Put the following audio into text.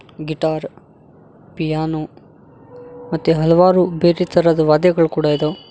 Guitar piano ಮತ್ತೆ ಹಲವಾರು ಬೇರೆ ತರಹದ್ ವಾದ್ಯಗುಳ್ ಕೂಡಾ ಇದಾವ್.